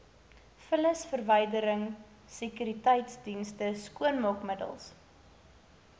vullisverwydering sekuriteitsdienste skoonmaakmiddels